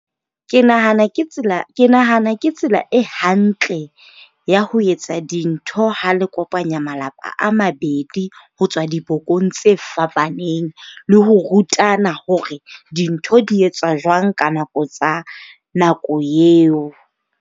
Ke nahana ke tsela ke nahana ke tsela e hantle ya ho etsa dintho ha le kopanya malapa a mabedi ho tswa dibokong tse fapaneng. Le ho rutana hore dintho di etswa jwang ka nako tsa nako eo.